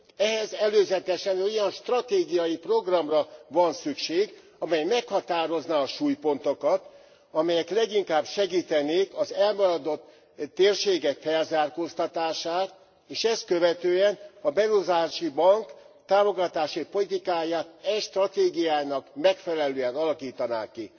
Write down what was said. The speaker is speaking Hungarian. Ehhez előzetesen egy olyan stratégiai programra van szükség, amely meghatározná a súlypontokat, amelyek leginkább segítenék az elmaradott térségek felzárkóztatását, és ezt követően a Beruházási Bank támogatási politikáját e stratégiának megfelelően alakítaná ki.